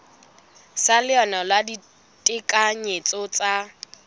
sa leano la ditekanyetso tsa